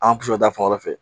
An bi sɔrɔ ta fan wɛrɛ fɛ